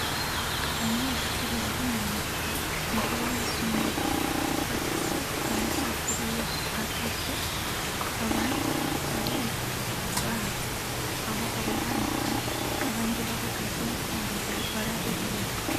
Abanyeshuri bari mu mbuga imbere y'amasomero bafise amasafuriya atatu abandi bariko bariruka baza aho abo bandi bari abandi bahagaze bariko bararorera.